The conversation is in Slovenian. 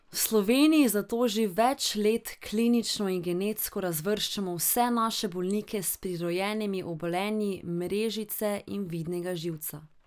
V Sloveniji zato že več let klinično in genetsko razvrščamo vse naše bolnike s prirojenimi obolenji mrežnice in vidnega živca.